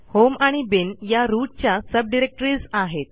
home आणि bin या root च्या सबडिरेक्टरीज आहेत